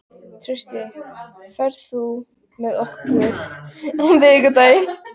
Trausti, ferð þú með okkur á miðvikudaginn?